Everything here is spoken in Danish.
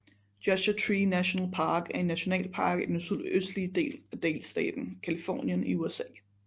Joshua Tree National Park er en nationalpark i den sydøstlige del af delstaten Californien i USA